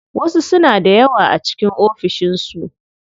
Wasu suna da yawa a cikin ofishin su.